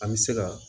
An bɛ se ka